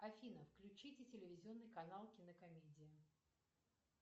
афина включите телевизионный канал кинокомедия